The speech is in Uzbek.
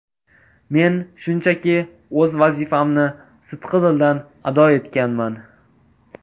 Men shunchaki o‘z vazifamni sidqidildan ado etganman.